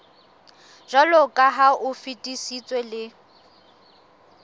jwaloka ha o fetisitswe le